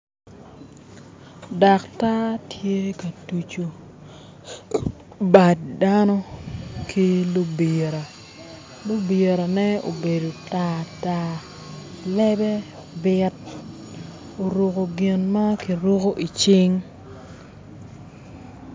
Daktar tye ka tucu bad dano ki lubira lubirane obedo tartar lebe bit oruko gin ma ki ruku icing